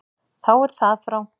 Þá er það frá.